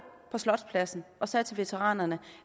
på slotspladsen og sagde til veteranerne